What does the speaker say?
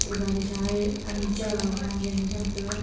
te gari sa hae ani chagai sa ani cham taga.